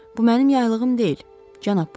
Bu mənim yaylığım deyil, cənab Puaro.